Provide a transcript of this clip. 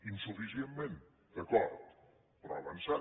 insuficientment d’acord però ha avançat